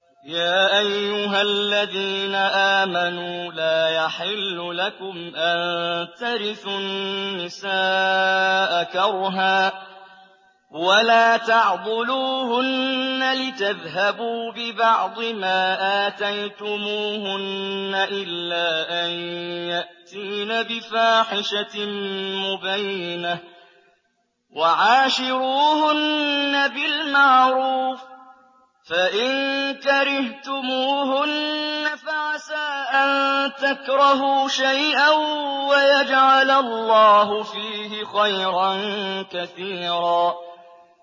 يَا أَيُّهَا الَّذِينَ آمَنُوا لَا يَحِلُّ لَكُمْ أَن تَرِثُوا النِّسَاءَ كَرْهًا ۖ وَلَا تَعْضُلُوهُنَّ لِتَذْهَبُوا بِبَعْضِ مَا آتَيْتُمُوهُنَّ إِلَّا أَن يَأْتِينَ بِفَاحِشَةٍ مُّبَيِّنَةٍ ۚ وَعَاشِرُوهُنَّ بِالْمَعْرُوفِ ۚ فَإِن كَرِهْتُمُوهُنَّ فَعَسَىٰ أَن تَكْرَهُوا شَيْئًا وَيَجْعَلَ اللَّهُ فِيهِ خَيْرًا كَثِيرًا